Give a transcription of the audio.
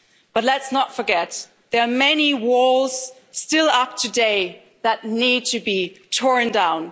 But let's not forget, there are many walls still up today that need to be torn down.